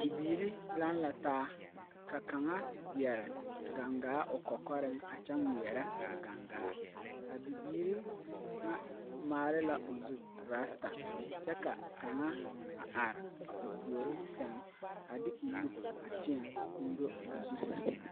Bibiiri lang la taa ka kanga yere gang gaa ɔ kɔkɔring a kye ngmiree a gang gaa a bibiiri nga maale la ɔ zu rasta kye ka kanga a arẽ ɔ poure seng a de ɔ nu teẽ ɔn do ɔ zu seng.